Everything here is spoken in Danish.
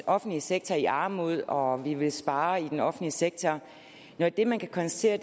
offentlige sektor i armod og og ville spare i den offentlige sektor når det man kan konstatere